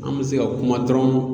An bɛ se ka kuma dɔrɔn